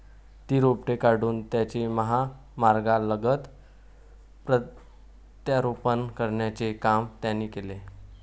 ती रोपटी काढून त्याचे महामार्गालगत प्रत्यारोपण करण्याचे काम त्यांनी केले.